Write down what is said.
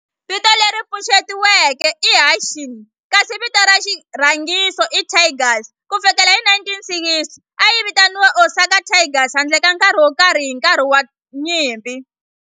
Vito leri pfuxetiweke i Hanshin kasi vito ra xirhangiso i Tigers. Ku fikela hi 1960, a yi vitaniwa Osaka Tigers handle ka nkarhi wo karhi hi nkarhi wa nyimpi.